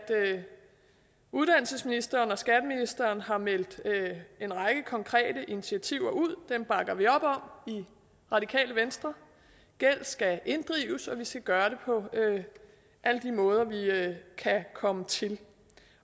uddannelsesministeren og skatteministeren har meldt en række konkrete initiativer ud dem bakker vi op i radikale venstre gæld skal inddrives og vi skal gøre det på alle de måder vi kan komme til